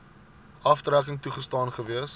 aftrekking toegestaan gewees